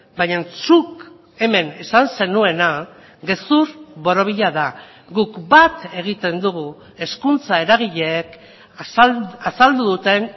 baina zuk hemen esan zenuena gezur borobila da guk bat egiten dugu hezkuntza eragileek azaldu duten